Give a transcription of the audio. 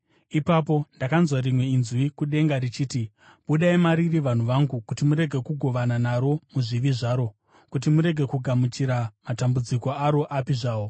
Ipapo ndakanzwa rimwe inzwi kudenga richiti: “Budai mariri, vanhu vangu, kuti murege kugovana naro muzvivi zvaro, kuti murege kugamuchira matambudziko aro api zvawo;